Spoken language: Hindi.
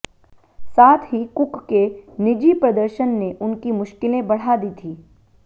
साथ ही कुक के निजी प्रदर्शन ने उनकी मुश्किलें और बढ़ा दी थीं